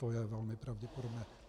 To je velmi pravděpodobné.